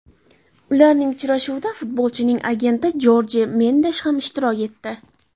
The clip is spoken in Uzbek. Ularning uchrashuvida futbolchining agenti Jorje Mendesh ham ishtirok etdi.